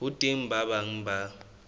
ho teng ba bang ba